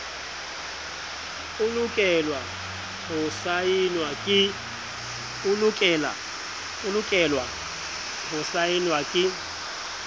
e lokelwa ho saenwa ke